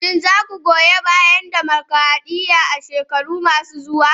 Shin za ku goyi bayan dimokradiyya a shekaru masu zuwa?